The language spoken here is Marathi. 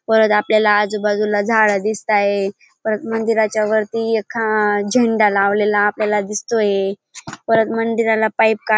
परत आपल्याला आजूबाजूला झाड दिसताये परत मंदिराच्या वरती एक झेंडा लावलेला आपल्याला दिसतोय परत मंदिराला पाईप --